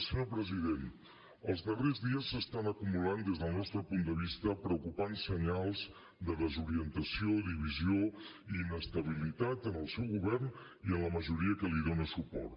senyor president els darrers dies s’estan acumulant des del nostre punt de vista preocupants senyals de desorientació divisió i inestabilitat en el seu govern i en la majoria que li dona suport